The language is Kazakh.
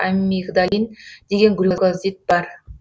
амигдалин деген глюкозид бар